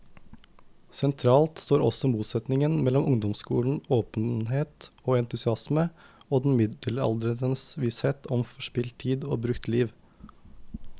Sentralt står også motsetningen mellom ungdommens åpenhet og entusiasme og den middelaldrendes visshet om forspilt tid, om brukt liv.